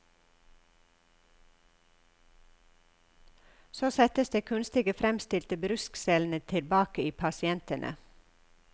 Så settes de kunstig fremstilte bruskcellene tilbake i pasientene.